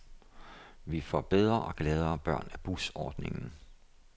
Vi får bedre og gladere børn af busordningen.